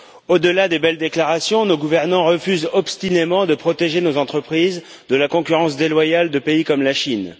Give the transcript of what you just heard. Au delà des belles déclarations, nos gouvernants refusent obstinément de protéger nos entreprises de la concurrence déloyale de pays comme la Chine.